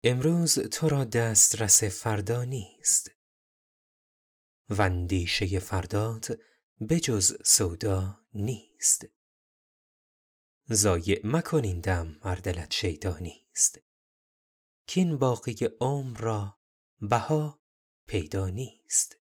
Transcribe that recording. امروز تو را دسترس فردا نیست واندیشه فردات به جز سودا نیست ضایع مکن این دم ار دلت شیدا نیست کاین باقی عمر را بها پیدا نیست